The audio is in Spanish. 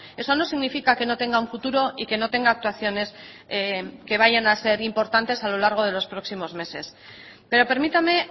eso no significa que no tenga un futuro y que no tenga actuaciones que vayan a ser importantes a lo largo de los próximos meses pero permítame